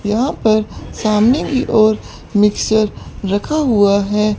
यहां पर सामने की ओर मिक्सचर रखा हुआ है।